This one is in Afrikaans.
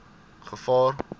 gevaar